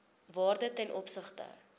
waarde ten opsigte